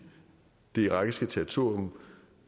det irakiske territorium